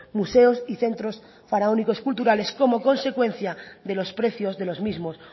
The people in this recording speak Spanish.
museos y centros faraónicos culturales como consecuencia de los precios de los mismos